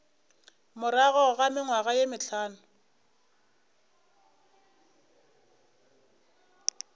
morago ga mengwaga ye mehlano